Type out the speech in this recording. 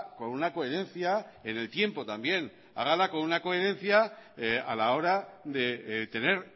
con una coherencia en el tiempo también hágala con una coherencia a la hora de tener